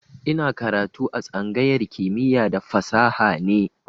Ina karatu a tsangayar kimiya da fasaha ne